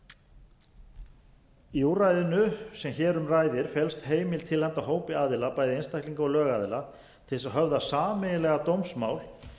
réttarfar í úrræðinu sem hér um ræðir felst heimild til að afhenda hópi aðila bæði einstaklinga og lögaðila til þess að höfða sameiginlega dómsmál